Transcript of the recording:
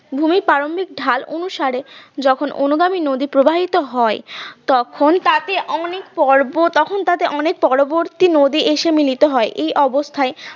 ভূমির পাললিক ঢাল অনুসারে যখন অনুগামী নদী প্রবাহিত হয় তখন তাতে অনেক পর্ব তখন তাতে অনেক পরবর্তী নদী এসে মিলিত হয় এই অবস্থায়